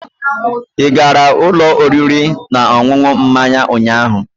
Ị gara ụlọ oriri na ọṅụṅụ mmanya ụnyaahụ?